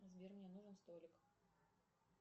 сбер мне нужен столик